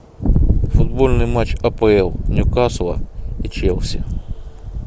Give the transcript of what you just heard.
футбольный матч апл ньюкасла и челси